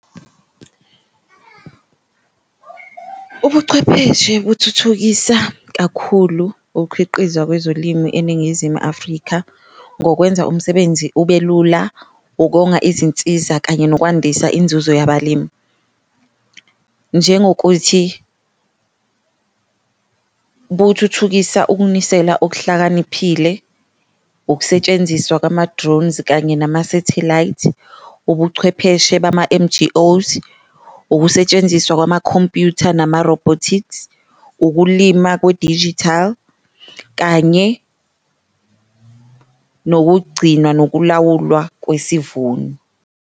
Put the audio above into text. Ubuchwepheshe buthuthukisa kakhulu ukukhiqizwa kwezolimi eNingizimu Afrika ngokwenza umsebenzi ube lula, ukonga izinsiza kanye nokwandisa inzuzo yabalimi. Njengokuthi buthuthukisa ukunisela okuhlakaniphile, ukusetshenziswa kwama-drones kanye nama-satellite, ubuchwepheshe bama-N_G_Os, ukusetshenziswa kwamakhompyutha nama-robotics, ukulima kwe-digital kanye nokugcinwa nokulawulwa kwesivuno.